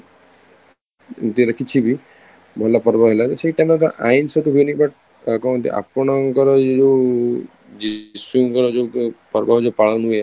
ଏମିତି ହେଲେ କିଛି ବି ଭଲ ପର୍ବ ହେଲା ସେ ତାଙ୍କ ହୁଏନି but କୁହନ୍ତି ଆପଣଙ୍କର ଯୋଉ ଯୀଶୁଙ୍କର ଯୋଉ ପର୍ବ ଯୋଉ ପାଳନ ହୁଏ